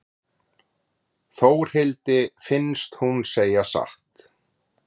Þórhildi finnst hún segja satt.